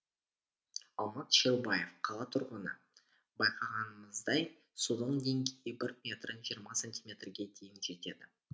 алмат шерубаев қала тұрғыны байқағанымыздай судың деңгейі бір метр жиырма сантиметрге дейін жетеді